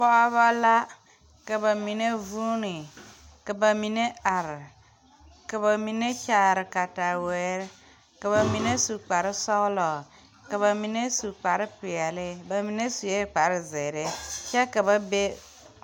Pɔɔbɔ la ka ba mine vuune ka ba mine are ka ba mine kyaare katawirre ka ba mine su kparesɔglɔ ka ba mine su kpare peɛle ba mine suee kpare zeere kyɛ ka ba be.